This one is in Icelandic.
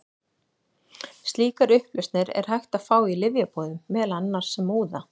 Slíkar upplausnir er hægt að fá í lyfjabúðum, meðal annars sem úða.